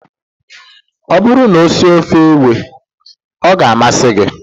Ọ bụrụ na ọ sie ofe ewe, ọ ga-amasị gị